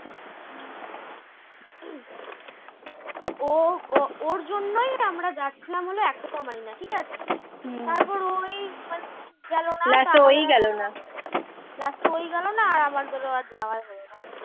ও ওর জন্যই আমরা যাচ্ছিলাম হল aquamarine ঠিকাছে? তারপর ওই গেল না last ও ই গেল না আর আমদেরও আর যাওয়াই হল না।